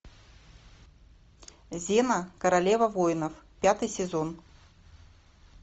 зена королева воинов пятый сезон